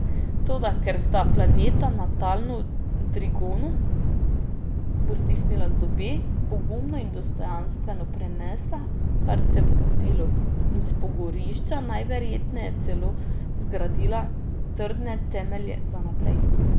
Toda ker sta planeta natalno v trigonu, bo stisnila zobe, pogumno in dostojanstveno prenesla, kar se bo zgodilo, in s pogorišča najverjetneje celo zgradila trdne temelje za naprej.